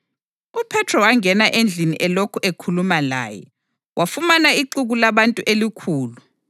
UPhethro wangena endlini elokhu ekhuluma laye, wafumana ixuku labantu elikhulu.